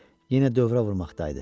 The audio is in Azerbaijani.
Yenə dövrə vurmaqdaydı.